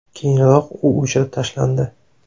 Keyinroq u o‘chirib tashlandi.